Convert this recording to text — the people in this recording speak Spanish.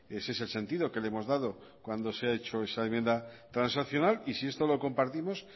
ese es el sentido que le hemos dado cuando se ha hecho esa enmienda transaccional y si esto lo compartimos